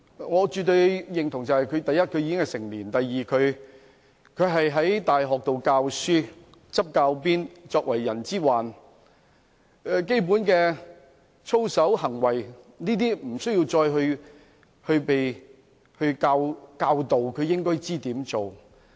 我絕對認同的是第一，他已經成年；第二，他在大學教書、執教鞭，作為"人之患"，對於基本的操守和行為，無須加以教導，他也應該知道怎樣做。